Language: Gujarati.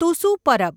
તુસુ પરબ